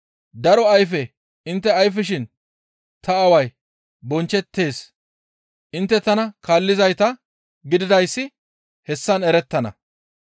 Daro ayfe intte ayfishin ta Aaway bonchchettees; intte tana kaallizayta gididayssi hessan erettana.